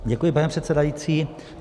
Děkuji, pane předsedající.